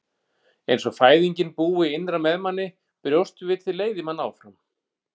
Eins og fæðingin búi innra með manni, brjóstvitið leiði mann áfram.